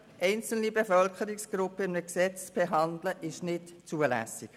Einzelne Bevölkerungsgruppen in einem Gesetz zu behandeln, ist nicht zulässig.